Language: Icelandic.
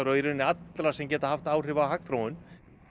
rauninni allra sem geta haft áhrif á hagþróun